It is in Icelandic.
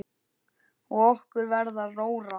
Og okkur verður rórra.